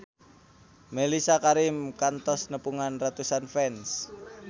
Mellisa Karim kantos nepungan ratusan fans